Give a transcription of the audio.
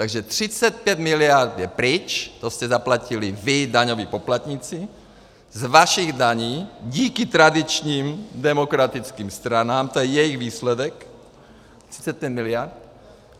Takže 35 miliard je pryč, to jste zaplatili vy, daňoví poplatníci, z vašich daní díky tradičním demokratickým stranám, to je jejich výsledek, 35 miliard.